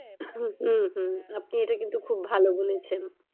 হম হম আপনি এটা কিন্তু খুব ভালো বলেছেন।